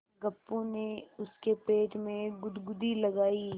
गप्पू ने उसके पेट में गुदगुदी लगायी